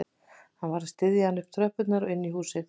Hann varð að styðja hana upp tröppurnar og inn í húsið